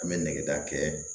An bɛ negeta kɛ